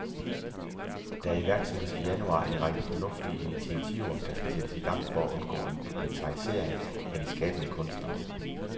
Der iværksættes i januar en række fornuftige initiativer, der skal sættes i gang for at undgå en proletarisering af de skabende kunstnere.